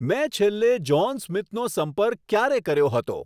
મેં છેલ્લે જ્હોન સ્મિથનો સંપર્ક ક્યારે કર્યો હતો